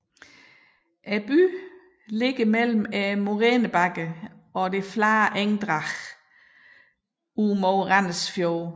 Byen ligger mellem morænebakkerne og det flade engdrag mod Randers Fjord